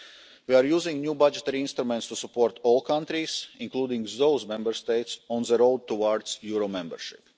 We are using new budgetary instruments to support all countries, including those Member States on the road towards euro membership.